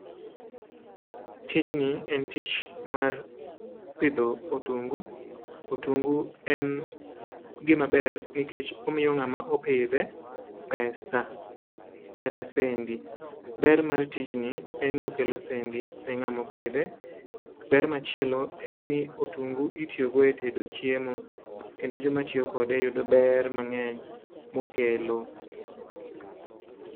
tijni en tich mar pidho otungu. Otungu en gimaber nikech omiyo ng'ama opidhe pesa kata sendi. Ber mar tijni en ni okelo sendi ne ng'ama opidhe. Ber machielo en ni otungu itiyogo e tedo chiemo kendo joma tiyo kode yudo ber mang'eny mokelo.